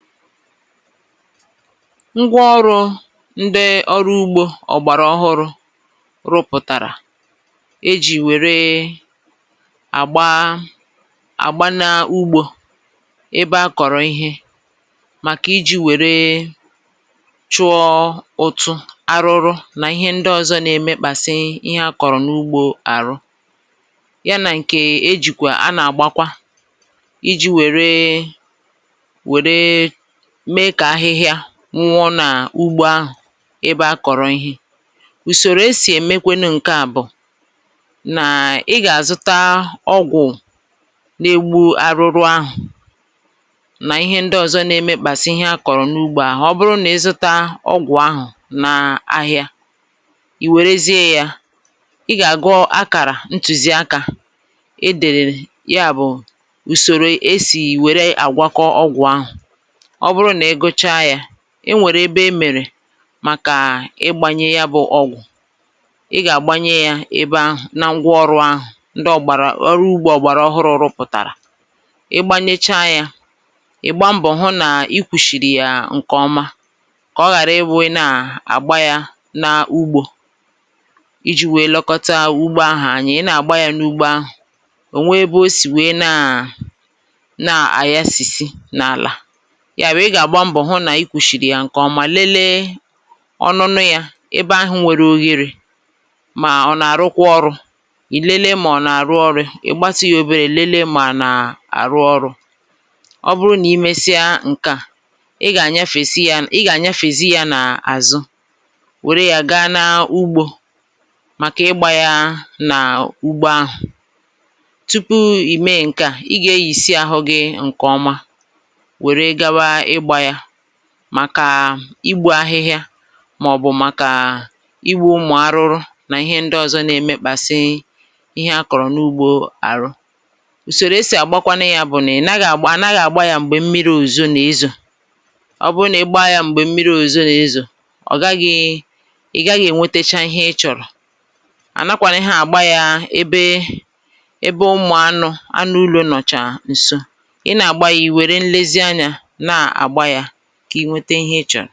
ngwa ọrụ ndị ọrụ ugbō ọ̀gbàrà ọhụrụ̄ rụpụ̀tàrà, e jì wère àgba àgba na ugbō, ebe a kọ̀rọ̀ ịhe, màkà ijī wẹ̀ẹ chụọ ụtụ̄, arụrụ, nà ịhẹ ndị ọzọ na ẹmẹkpàsị ịhẹ a kọ̀rọ̀ n’ugbō àrụ, y anà ǹkẹ̀ e jikwà, a nà àgbakwa, ijī wère me kà ahịhịa nwụọ nà ugbo ahụ̀, ebe a kọ̀rọ̀ ihe. ùsòrò e sì ẹ̀mẹkwanụ nkẹ à bụ̀ nà ị gà àzụta ọgwụ̀ na egbu arụrụ ahụ̀, nà ịhẹ ndị ọ̀zọ na ẹmẹkpàsị ịhẹ a kọ̀rọ̀ n’ugbō ahụ̀. ọ bụrụ nà ị zụta ọgwụ̀ ahụ̀, na ahịa, ì wèrezie yā, ị gà gụ akàrà ntùzi akā e dèrè, yà bụ̀, ùsòrò e sì wère àgwọkọ ọgwụ̀ ahụ̀. ọ bụrụ nà ị gụcha yā, e nwèrè ebe e mèrè màkà ịgbanye ya bụ̄ ọgwụ̀ ahụ̀, na ngwa ọrụ̄ ahụ̀, ndị ọ̀gbàrà, ọrụ ugbō ọ̀gbàrà ọhụrụ̄ rụpụ̀tàrà. ị̀ gba mbọ̀ hụ nà I kwūshìrì yà ǹkẹ̀ ọma, kà ọ ghàra ịwụ̄ ị nà àgba ya n’ugbō, ijī wẹ lẹkọta ugbo ahụ̀ anya, ị nà àgba yā n’ugbo ahụ̀, ọ̀ nwe ebe o sì wèe nà nà àyasìsi n’àlà, yà bụ̀ ị gà àhụ nà ị kwūshìrì yà ǹkẹ ọma, lele ọnụnụ yā, ebe ahụ̄ nwẹrẹ ogherē, mà ọ̀ nà àrụkwa ọrụ̄, ì lele mà ọ̀ nà àrụ ọrụ̄, ì gbatu yā obere, nene mà ọ̀ nà àrụ ọrụ̄, ị̀ gbatụ ya oberē, lele mà ọ̀ nà àrụ ọrụ̄. ọ bụrụ nà imesịa ǹkẹ̀ à, ị̀ gà ànyafèzi ya, ị gà ànyafèsi ya nà àzụ, wère ya ga na ugbō, màkà ị gbā ya nà ugbo ahụ̀. tupu ị̀ mẹ ǹkẹ à, ị gà eyìsi ahụ gị ǹkẹ̀ ọma, wère gawa ịgbā ya, màkà ahịhịa, mà ọ̀ bụ̀ igbū ụmụ̀ arụrụ nà ịhẹ ndị ọzọ na ẹmẹkpàsị ịhẹ a kọ̀rọ̀ n’ugbō àrụ̀. usòro e sì àgbakwanụ ya bụ̀ nà à naghị àgba yā mgbè mmirī òzùzo nà ezo. ọ bụ nà ị gba ya m̀gbè mmirī òzùzo nà ezo, ì gaghi ẹ̀nwẹtẹchasị ịhẹ ị chọ̀rò. ọ bụ nà ịgba yā m̀gbè mmirī òzùzo nà ezo, ọ̀ gaghị, ị̀ gaghị ẹ̀ nwẹtẹcha ịhẹ ị chọ̀rọ̀. à nakwānịha àgba yā ebe ebe ụmụ̀ anụ̄, anụ ulō nọ̀chà ǹso. ị nà àgba ya, ị̀ wẹ̀rẹ nlezi anyā nà àgba yā, kà ị nwẹtẹ ịhẹ ịchọ̀.